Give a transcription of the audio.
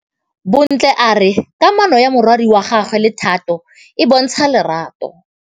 Bontle a re kamanô ya morwadi wa gagwe le Thato e bontsha lerato.